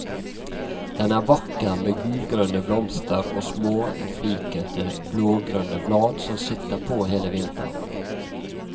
Den er vakker, med gulgrønne blomster og småflikete, blågrønne blad som sitter på hele vinteren.